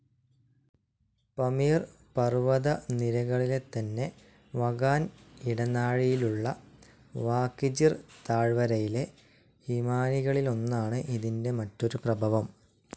പമീർ പർവ്വതനിരകളിലെത്തന്നെ വഖാൻ ഇടനാഴിയിലുള്ള വാഖ്‌ജിർ താഴ്‌വരയിലെ ഹിമാനികളിലൊന്നാണ് ഇതിൻ്റെ മറ്റൊരു പ്രഭവം.